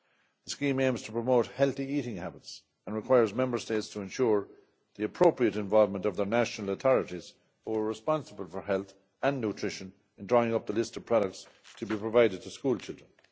The scheme aims to promote healthy eating habits and requires Member States to ensure the appropriate involvement of their national authorities responsible for health and nutrition in drawing up the list of products to be provided to schoolchildren.